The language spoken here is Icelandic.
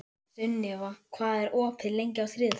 Sunniva, hvað er opið lengi á þriðjudaginn?